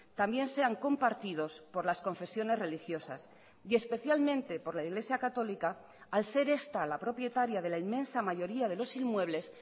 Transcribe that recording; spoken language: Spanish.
también sean compartidos por las confesiones religiosas y especialmente por la iglesia católica al ser esta la propietaria de la inmensa mayoría de los inmuebles